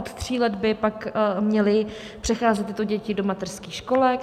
Od tří let by pak měly přecházet tyto děti do mateřských školek.